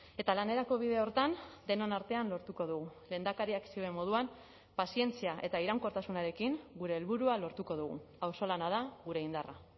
eta lanerako bide horretan denon artean lortuko dugu lehendakariak zioen moduan pazientzia eta iraunkortasunarekin gure helburua lortuko dugu auzolana da gure indarra